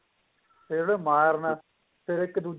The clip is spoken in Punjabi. ਫੇਰ ਉਹਦੇ ਮਾਰਨਾ ਫੇਰ ਇੱਕ